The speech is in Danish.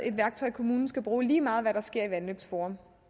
et værktøj kommunen skal bruge lige meget hvad der sker i vandløbsforum